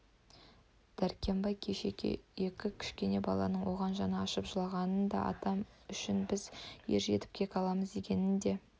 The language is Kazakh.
дәркембай кеше екі кішкене баланың оған жаны ашып жылағанын да атам үшін біз ержетіп кек аламыз дегенін де